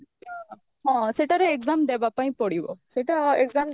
ହଁ ସେଟାର exam ଦବା ପାଇଁ ପଡିବ ସେଇଟା exam